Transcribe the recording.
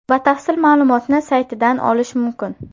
Batafsil ma’lumotni saytidan olish mumkin.